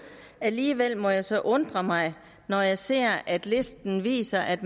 alligevel må jeg så undre mig når jeg ser at listen viser at